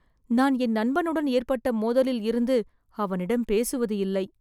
நான் என் நண்பனுடன் ஏற்பட்ட மோதலில் இருந்து அவனிடம் பேசுவது இல்லை